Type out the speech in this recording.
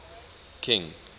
king